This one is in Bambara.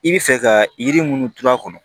I bɛ fɛ ka yiri minnu turu a kɔnɔ